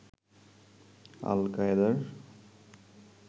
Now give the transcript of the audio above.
আল-কায়েদার